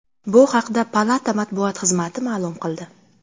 Bu haqda Palata matbuot xizmati ma’lum qildi .